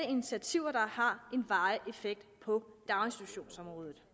initiativer der har en varig effekt på daginstitutionsområdet